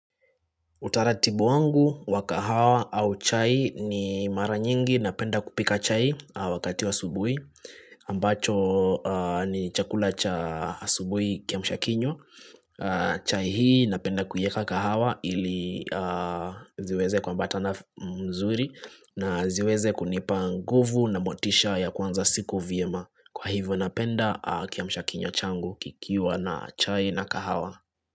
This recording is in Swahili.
Utaratibu wangu wa kahawa au chai ni mara nyingi na penda kupika chai wakati wa asubui ambacho ni chakula cha asubui kiamsha kinywa. Chai hii napenda kueka kahawa ili ziweze kuambatana mzuri na ziweze kunipa nguvu na motisha ya kwanza siku vyema. Kwa hivyo napenda kiamsha kinywa changu kikiwa na chai na kahawa.